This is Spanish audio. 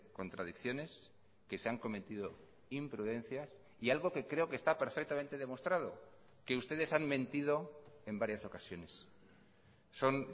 contradicciones que se han cometido imprudencias y algo que creo que está perfectamente demostrado que ustedes han mentido en varias ocasiones son